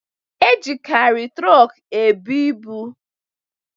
E jikari trok e bu ịbụ